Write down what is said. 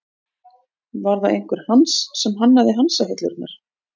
Var það einhver Hans sem hannaði hansahillurnar?